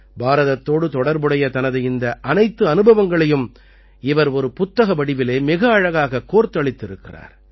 பாரதத்தோடு தொடர்புடைய தனது இந்த அனைத்து அனுபவங்களையும் இவர் ஒரு புத்தக வடிவிலே மிக அழகாகக் கோர்த்தளித்திருக்கிறார்